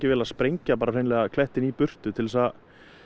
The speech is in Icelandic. að sprengja bara hreinlega klettinn í burtu til þess að